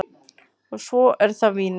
Og svo er það vínið.